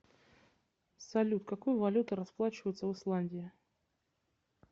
салют какой валютой расплачиваются в исландии